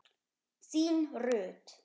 Þín Rut.